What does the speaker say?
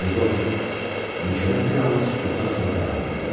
Yeqor, mülkədar bir anlıq sükutdan sonra davam eləyir.